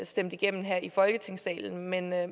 stemt igennem her i folketingssalen men jeg